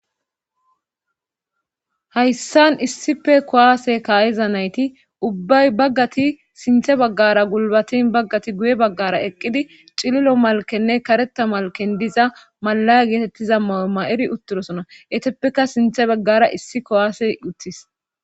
hayssan issife kowaase kaayeza nayti ubbay baggati sinthe baggara gulbatin baggati guye baggara eqqidi cililo malkenne kareta malken diza malaya geetettiza maw7o ma7eri uttirosona eteppeka sinthe baggara issi kowaase uttis